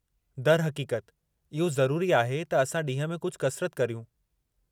दरहक़ीक़त, इहो ज़रूरी आहे त असां ॾींहं में कुझु कसरत करियूं।